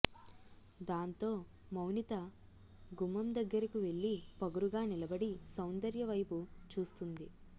దాంతో మౌనిత గుమ్మం దగ్గరకు వెళ్లి పొగరుగా నిలబడి సౌందర్య వైపు చూస్తుంది